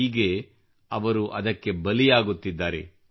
ಹೀಗೆ ಅವರು ಅದಕ್ಕೆ ಬಲಿಯಾಗುತ್ತಿದ್ದಾರೆ